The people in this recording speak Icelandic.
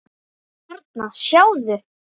Þarna, sjáðu